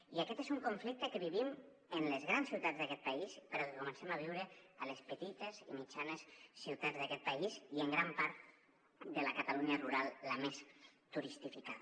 i aquest és un conflicte que vivim en les grans ciutats d’aquest país però que comencem a viure a les petites i mitjanes ciutats d’aquest país i en gran part de la catalunya rural la més turistificada